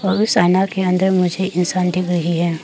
के अंदर मुझे इंसान दिख रही है।